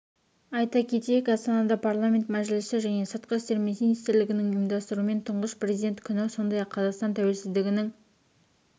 айта кетейік астанада парламенті мәжілісі және сыртқы істер министрлігінің ұйымдастыруымен тұңғыш президент күні сондай-ақ қазақстан тәуелсіздігінің